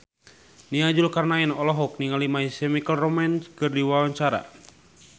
Nia Zulkarnaen olohok ningali My Chemical Romance keur diwawancara